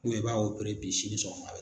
Do i b'a bi sini sɔgɔma a bɛ